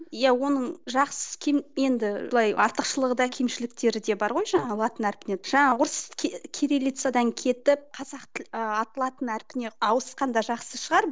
иә оның жақсы кем енді былай артықшылығы да кемшіліктері де бар ғой жаңағы латын әрпінен жаңағы орыс кириллицадан кетіп қазақ латын әрпіне ауысқан да жақсы шығар